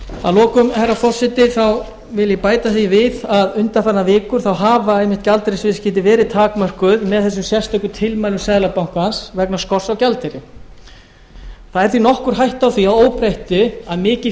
að lokum herra forseti þá vil ég bæta því við að undanfarnar vikur þá hafa einmitt gjaldeyrisviðskipti verið takmörkuð með þessum sérstöku tilmælum seðlabankans vegna skorts á gjaldeyri það er því nokkur hætta á því að óbreyttu að mikið